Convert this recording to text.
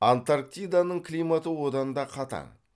антарктиданың климаты одан да қатаң